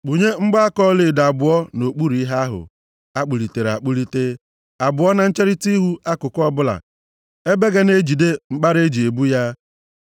Kpụnye mgbaaka ọlaedo abụọ nʼokpuru ihe ahụ akpụlitere akpụlite, abụọ na ncherita ihu akụkụ ọbụla, ebe ga na-ejide mkpara e ji ebu ya.